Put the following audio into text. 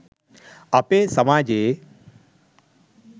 අපේ සමාජයේ